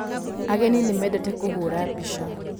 Ageni nĩ mendete kũhũra mbica.